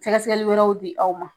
Sɛgɛsɛli wɛrɛw di aw ma.